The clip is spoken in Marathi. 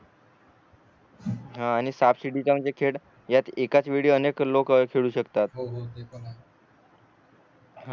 हा आणि साप सीडीचा म्हणजे खेळ एकाच वेळी अनेक लोकं खेळू शकतात